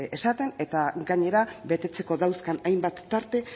esaten eta gainera betetzeko dauzkan hainbat tarte